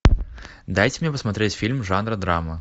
дайте мне посмотреть фильм жанра драма